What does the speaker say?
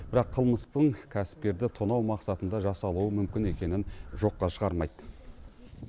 бірақ қылмыстың кәсіпкерді тонау мақсатында жасалуы мүмкін екенін жоққа шығармайды